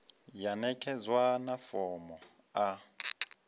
ya ṋekedzwa na fomo a